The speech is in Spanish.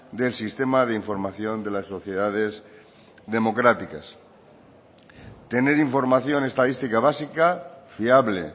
del sistema de información de las sociedades democráticas tener información estadística básica fiable